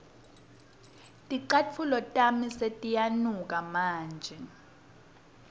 ticatfulo tami setiyanuka manje